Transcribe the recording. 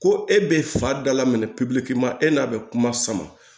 Ko e bɛ fa da la minɛ e n'a bɛ kuma sama